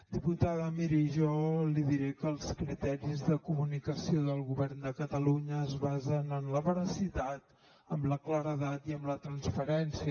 diputada miri jo li diré que els criteris de comunicació del govern de catalunya es basen en la veracitat en la claredat i en la transparència